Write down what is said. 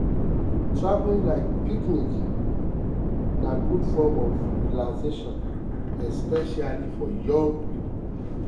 traveling like picnics na good form of relaxation especially for young people.